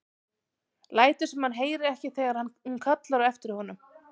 Lætur sem hann heyri ekki þegar hún kallar á eftir honum.